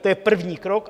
To je první krok.